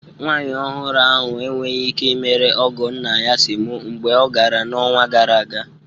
Nwanyị ọhụrụ ahụ enweghị ike imere ọgọ nna ya semo mgbe ọ gara n'ọnwa gara aga